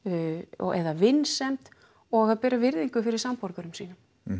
eða vinsemd og að bera virðingu fyrir samborgurum sínum